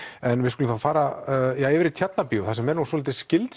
en við skulum fara yfir í Tjarnabíó þar sem er nú svolítið skyld